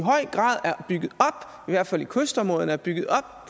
hvert fald i kystområderne er bygget op